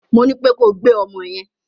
Mo ní pé kó gbé ọmọ yẹn!